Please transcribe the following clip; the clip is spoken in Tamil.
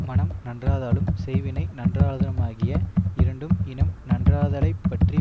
மனம் நன்றாதலும் செய்வினை நன்றாதலுமாகிய இரண்டும் இனம் நன்றாதலைப் பற்றி